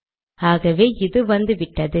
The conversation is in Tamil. ஆகவே இது வந்துவிட்டது